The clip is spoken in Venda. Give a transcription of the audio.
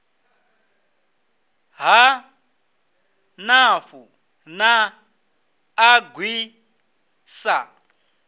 ha nafu na agri sa